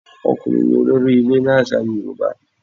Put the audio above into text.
Ọkùnrin ní olórí ilé ni àṣà Yorùbá.